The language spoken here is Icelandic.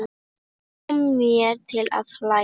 Kom mér til að hlæja.